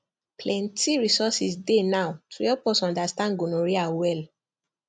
plenty resources dey now to help us understand gonorrhea well